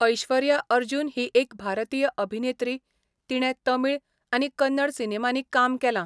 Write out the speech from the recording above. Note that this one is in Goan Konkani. ऐश्वर्या अर्जुन ही एक भारतीय अभिनेत्री, तिणें तमिळ आनी कन्नड सिनेमांनी काम केलां.